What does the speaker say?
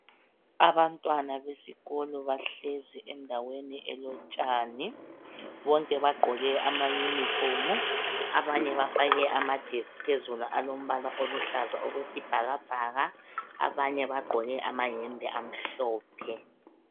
Abantwana besikolo bahlezi endaweni elotshani. Bonke bagqoke amayunifomu, Abanye bafake amajesi phezulu alombala oluhlaza okwesibhakabhaka, abanye bagqoke amahembe amhlophe.